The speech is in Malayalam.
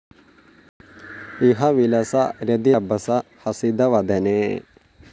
ഇഹ വിലസ രതിരഭസ ഹസിതവദനേ